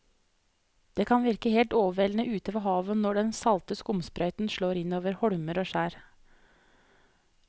Det kan virke helt overveldende ute ved havet når den salte skumsprøyten slår innover holmer og skjær.